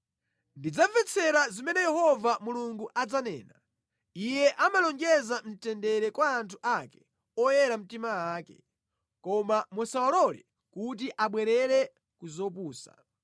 Ndidzamvetsera zimene Yehova Mulungu adzanena; Iye amalonjeza mtendere kwa anthu ake, oyera mtima ake, koma musawalole kuti abwerere ku zopusa.